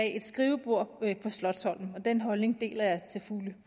et skrivebord på slotsholmen og den holdning deler jeg til fulde